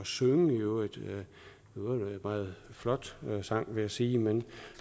synge i øvrigt en meget flot sang vil jeg sige med